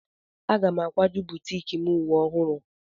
Aga n akwaju butiiki m uwe ọhụrụ.